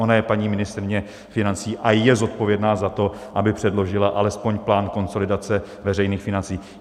Ona je paní ministryně financí a je zodpovědná za to, aby předložila alespoň plán konsolidace veřejných financí.